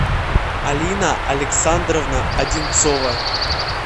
алина александровна одинцова